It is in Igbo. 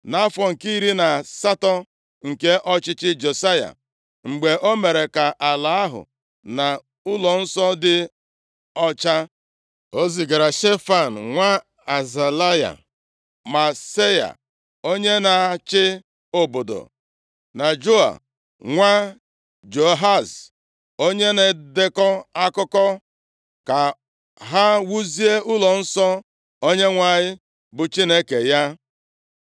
Nʼafọ nke iri na asatọ nke ọchịchị Josaya, mgbe o mere ka ala ahụ na ụlọnsọ dị ọcha, o zigara Shefan nwa Azalaya, Maaseia onye na-achị obodo, na Joa nwa Joahaz, onye na-edekọ akụkọ, ka ha wuzie ụlọnsọ Onyenwe anyị, bụ Chineke ya.